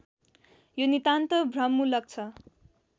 यो नितान्त भ्रममूलक छ